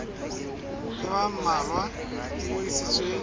ya ba mmalwa e ngodisitsweng